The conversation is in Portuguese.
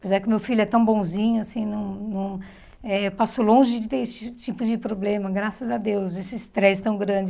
Apesar que o meu filho é tão bonzinho assim, não não eh eu passo longe de ter esse tipo de problema, graças a Deus, esse estresse tão grande.